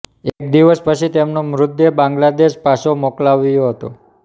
એક દિવસ પછી તેમનો મૃતદેહ બાંગ્લાદેશ પાછો મોકલાયો હતો